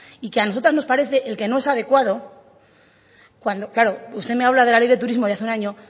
y que a nosotras nos parece el que no es adecuado claro usted me habla de la ley de turismo de hace un año